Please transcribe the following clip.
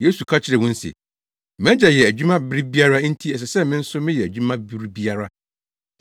Yesu ka kyerɛɛ wɔn se, “Mʼagya yɛ adwuma bere biara enti ɛsɛ sɛ me nso meyɛ adwuma bere biara.”